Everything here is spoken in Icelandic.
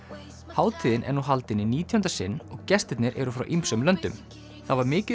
hátíðin er nú haldin í nítjánda sinn og gestirnir eru frá ýmsum löndum það var mikið